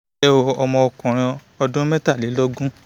lẹ́ o ọkùnrin ọmọ ọdún mẹ́tàlélógún